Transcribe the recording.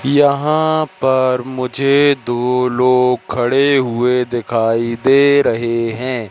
यहाँ पर मुझे दो लोग खड़े हुए दिखाई दे रहें हैं।